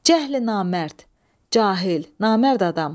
Cəhl-i-namərd, cahil, namərd adam.